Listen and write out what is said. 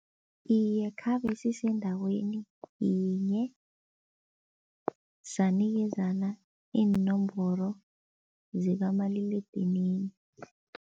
Iye, khabe sisendaweni yinye sanikezana iinomboro zikamaliledinini.